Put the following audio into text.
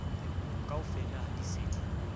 kaofela ha di se di